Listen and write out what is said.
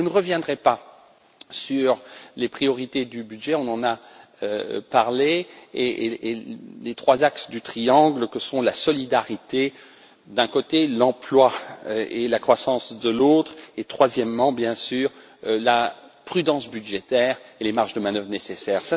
Je ne reviendrai pas sur les priorités du budget, on en a parlé, et les trois axes du triangle que sont la solidarité d'un côté, l'emploi et la croissance de l'autre, et troisièmement, bien sûr, la prudence budgétaire et les marges de manœuvre nécessaires.